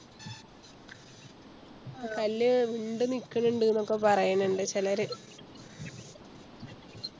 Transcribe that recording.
ആ കല്ല് വിണ്ട് നിക്കണിണ്ട് ന്നൊക്കെ പറയാണിണ്ട് ചെലര്